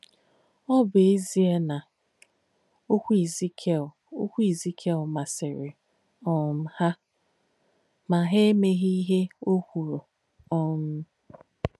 Ọ̀ bù ézíē nà okwú Èzíkiēl okwú Èzíkiēl màsìrī um hà, mà hà èméghī íhe ọ̀ kwùrù. um